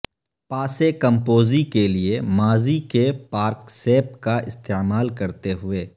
پاسے کمپوزی کے لئے ماضی کے پارکسیپ کا استعمال کرتے ہوئے